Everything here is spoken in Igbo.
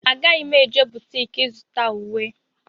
Agaghị m eje butiki ịzụta ùwé.